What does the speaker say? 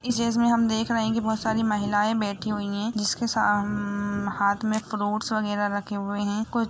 जिस में हम देख रहे है की बहुत सारी महिलाये बेठी हुई है जिसके साम-हाथ में फ्रूट्स बगेरा रखे हुए है।